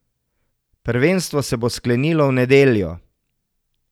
Prvenstvo se bo sklenilo v nedeljo.